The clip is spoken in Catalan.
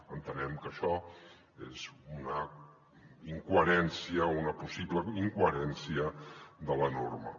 entenem que això és una incoherència una possible incoherència de la norma